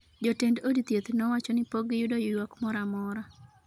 jotend od thieth no wacho ni pok giyudo ywak moramora